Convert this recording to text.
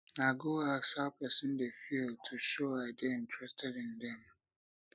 i go ask how pesin dey feel to show i dey interested in dem